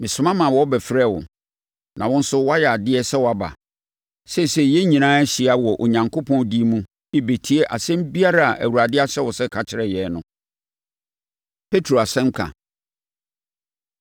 Mesoma maa wɔbɛfrɛɛ wo, na wo nso woayɛ adeɛ sɛ woaba. Seesei, yɛn nyinaa ahyia wɔ Onyankopɔn din mu rebɛtie asɛm biara a Awurade ahyɛ wo sɛ ka kyerɛ yɛn no.” Petro Asɛnka